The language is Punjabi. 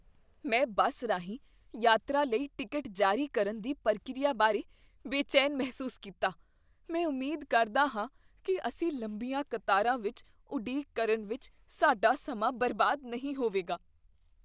ਮੈਂ ਬੱਸ ਰਾਹੀਂ ਯਾਤਰਾ ਲਈ ਟਿਕਟ ਜਾਰੀ ਕਰਨ ਦੀ ਪ੍ਰਕਿਰਿਆ ਬਾਰੇ ਬੇਚੈਨ ਮਹਿਸੂਸ ਕੀਤਾ, ਮੈਂ ਉਮੀਦ ਕਰਦਾ ਹਾਂ ਕੀ ਅਸੀਂ ਲੰਬੀਆਂ ਕਤਾਰਾਂ ਵਿੱਚ ਉਡੀਕ ਕਰਨ ਵਿੱਚ ਸਾਡਾ ਸਮਾਂ ਬਰਬਾਦ ਨਹੀਂ ਹੋਵੇਗਾ।